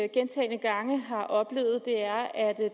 gentagne gange har oplevet er at